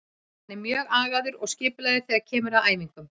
Hann er mjög agaður og skipulagður þegar kemur að æfingum.